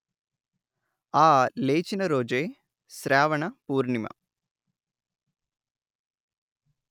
ఆ లేచిన రోజే శ్రావణ పూర్ణిమ